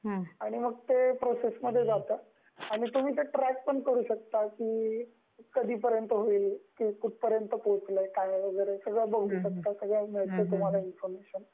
आणि मग ते प्रोसेसमध्ये जातं आणि तुम्ही ट्रॅक पण करू शकता की कधीपर्यंत होईल, कुठपर्यंत पोहचलय, सगळ बघु शकता सगळी मिळते तुम्हाला इन्फॉरमेशन.